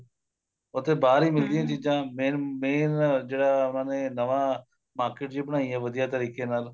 ਉੱਥੇ ਬਾਲੀ ਮਿਲਦੀਆਂ ਚੀਜ਼ਾਂ main main ਜਿਹੜਾ ਉਹਨਾ ਨੇ ਨਵਾਂ market ਜੀ ਬਣਾਈ ਏ ਵਧੀਆ ਤਰੀਕੇ ਨਾਲ